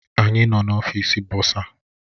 Anyị nọ n'ọfịs bọsa